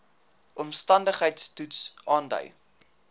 omstandigheids toets aandui